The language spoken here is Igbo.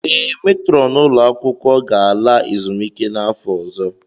Ee, metrọn ụlọ akwụkwọ ga-ala ezumike nka n'afọ ọzọ.